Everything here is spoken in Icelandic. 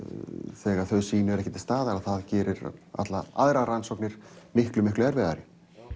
þegar þau sýni eru ekki til staðar þá gerir það allar aðrar rannsóknir miklu miklu erfiðari